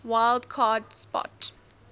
wild card spot